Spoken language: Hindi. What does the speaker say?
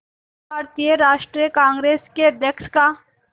भारतीय राष्ट्रीय कांग्रेस के अध्यक्ष का